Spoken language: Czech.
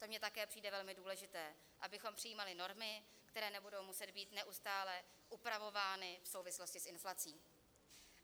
To mi také přijde velmi důležité, abychom přijímali normy, které nebudou muset být neustále upravovány v souvislosti s inflací.